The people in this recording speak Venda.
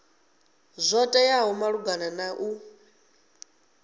zwo teaho malugana na u